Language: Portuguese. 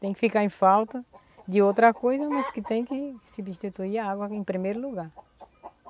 Tem que ficar em falta de outra coisa, mas que tem que substituir a água em primeiro lugar.